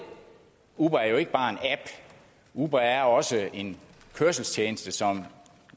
uber er jo ikke bare en app uber er også en kørselstjeneste som